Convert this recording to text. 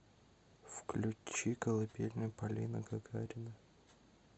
включи колыбельная полина гагарина